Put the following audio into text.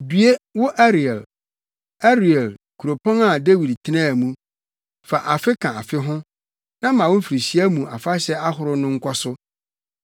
Due wo Ariel, Ariel, kuropɔn a Dawid tenaa mu! Fa afe ka afe ho na ma wo mfirihyia mu afahyɛ ahorow no nkɔ so.